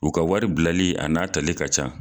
U ka wari bilali a n'a tali ka can.